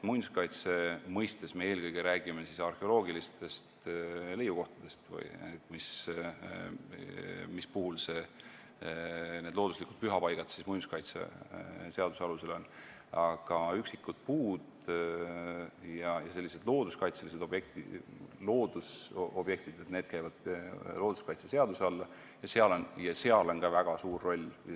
Muinsuskaitse mõistes me räägime eelkõige arheoloogilistest leiukohtadest, mis puhul need looduslikud pühapaigad on muinsuskaitseseaduse all, aga üksikud puud ja teised sellised loodusobjektid käivad looduskaitseseaduse alla.